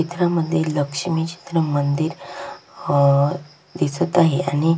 चित्रामध्ये लक्ष्मी चे मंदिर अह दिसत आहे आणि--